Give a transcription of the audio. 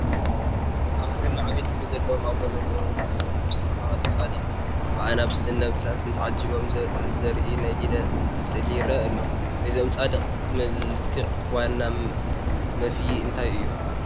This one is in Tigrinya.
ኣብ ሃገርና ዓብዪ ክብሪ ዘለዎም ኣቡነ ገብረ መንፈስ ቅዱስ ዝበሃሉ ፃድቕ ብኣናብስን ነብርታትን ተዓጂቦም ዘርኢ ናይ ኢድ ስእሊ ይርአ ኣሎ፡፡ ናይዞም ፃድቕ መልክዕ ዋና መፍዪ እንታይ እዩ?